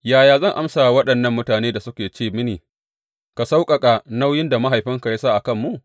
Yaya zan amsa wa waɗannan mutanen da suke ce mini, Ka sauƙaƙa nauyin da mahaifinka ya sa a kanmu’?